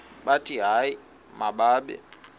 bathi hayi mababe